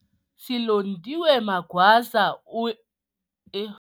Silondiwe Magwaza, eo e.